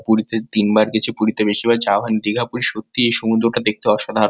পুরীতে তিন বার গেছি পুরীতে বেশি ভাগ যাওয়া হয়নি। দীঘা পুরি সত্যিই এই সমুদ্র টা দেখতে অসাধারণ।